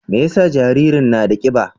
Me yasa jaririn na da kiba?